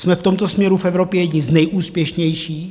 Jsme v tomto směru v Evropě jedni z nejúspěšnějších.